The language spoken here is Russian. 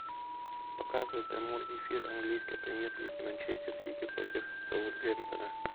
показывай прямой эфир английской премьер лиги манчестер сити против саутгемптона